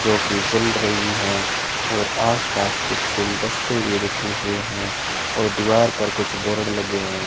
जोकि जल रही हैं और आसपास कुछ गुलदस्ते भी रखे हुए हैं और दीवार पर कुछ बोर्ड लगे हुए है।